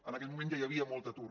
en aquell moment ja hi havia molt atur